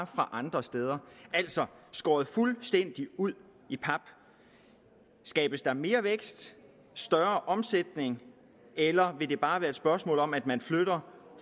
fra andre steder altså skåret fuldstændig ud i pap skabes der mere vækst en større omsætning eller vil det bare være et spørgsmål om at man flytter